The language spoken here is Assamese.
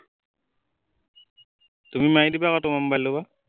তুমি মাৰি দিবা আকৌ তোমাৰ মবাইলৰ পৰা